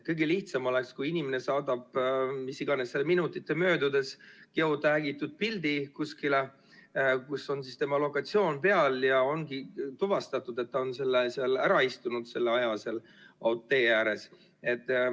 Kõige lihtsam oleks, kui inimene saadab mis iganes minutite möödudes kuskile geotäägitud pildi, kus on tema lokatsioon peal, ja ongi tuvastatud, et ta on ära istunud selle aja seal tee ääres.